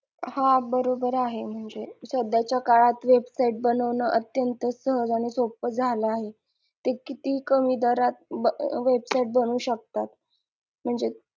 हा बरोबर आहे म्हणजे सध्याच्या काळात website बनवणं अत्यंत सहज आणि सोप्प झालं आहे ते किती कमी दरात ब website बनवू शकतात म्हणजे